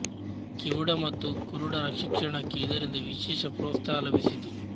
ಕಿವುಡ ಮತ್ತು ಕುರುಡರ ಶಿಕ್ಷಣಕ್ಕೆ ಇದರಿಂದ ವಿಶೇಷ ಪ್ರೋತ್ಸಾಹ ಲಭಿಸಿತು